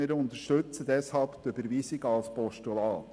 wir unterstützen deshalb die Überweisung als Postulat.